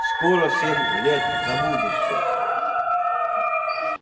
скоро семь лет забудутся